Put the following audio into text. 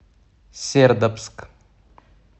сердобск